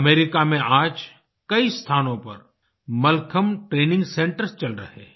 America में आज कई स्थानों पर मलखम्ब ट्रेनिंग सेंटर्स चल रहे हैं